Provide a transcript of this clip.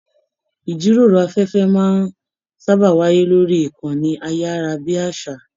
Ijíròrò afẹfẹ máa n sábà wáyé lórí ìkànnì ayarabiasa.